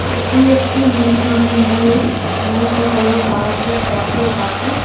এটি একটি নীল রঙের ময়ূর ময়ূর হলো ভারতের জাতীয় পাখি।